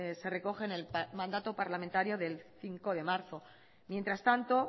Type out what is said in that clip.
se recoge en el mandato parlamentario del cinco de marzo mientras tanto